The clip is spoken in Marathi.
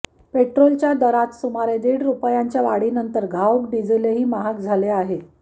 पेट्रोलच्या दरात सुमारे दीड रुपयाच्या वाढीनंतर घाऊक डिझेलही महाग झाले आहे